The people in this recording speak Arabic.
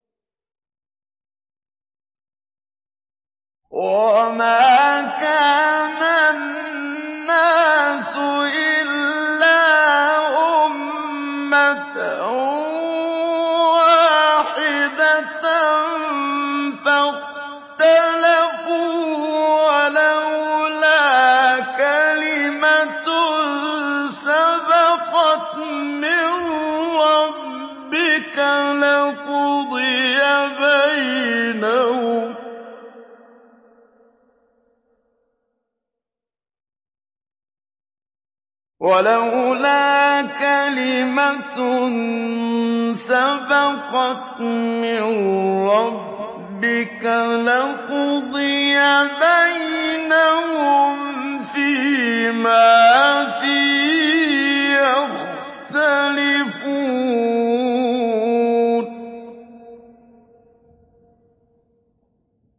وَمَا كَانَ النَّاسُ إِلَّا أُمَّةً وَاحِدَةً فَاخْتَلَفُوا ۚ وَلَوْلَا كَلِمَةٌ سَبَقَتْ مِن رَّبِّكَ لَقُضِيَ بَيْنَهُمْ فِيمَا فِيهِ يَخْتَلِفُونَ